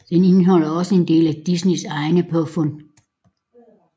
Den indeholder også en del af Disneys egne påfund